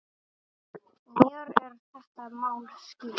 Mér er þetta mál skylt.